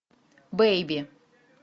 бейби